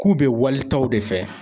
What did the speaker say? K'u bɛ walitaw de fɛ.